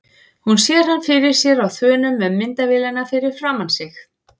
Hún sér hann fyrir sér á þönum með myndavélina fyrir framan sig.